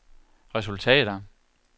resultater